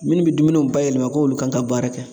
Minnu be dumuniw bayɛlɛma k'olu kan ka baara kɛ